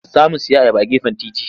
Za mu sayi ayaba a gefen titi.